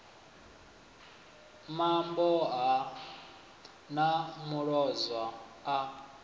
mambo ha ḓa muloza a